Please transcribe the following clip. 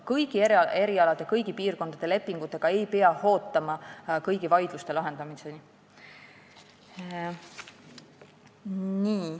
Nii et kõigi erialade ja kõigi piirkondade lepingute puhul ei pea ootama kõigi vaidluste lahendamist.